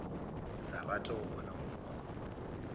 sa rate go bona mokgwa